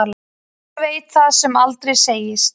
Hver veit það sem aldrei segist.